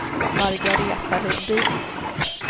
Margareta Lundin